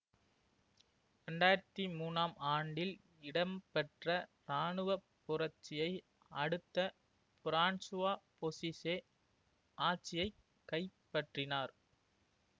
இரண்டு ஆயிரத்தி மூனாம் ஆண்டில் இடம்பெற்ற இராணுவ புரட்சியை அடுத்து பிரான்சுவா பொசீசே ஆட்சியை கைப்பற்றினார்